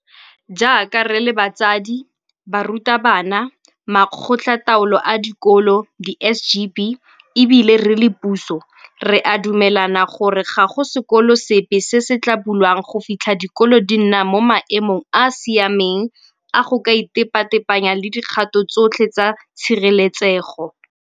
Jaaka re le batsadi, barutabana, Makgotlataolo a Dikolo, di-SGB, e bile re le puso, re a dumelana gore ga go sekolo sepe se se tla bulwang go fitlha dikolo di nna mo maemong a a siameng a go ka itepatepanya le dikgato tsotlhe tsa tshireletsego.